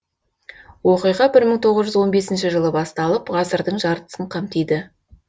оқиға бір мың тоғыз жүз он бесінші жылы басталып ғасырдың жартысын қамтиды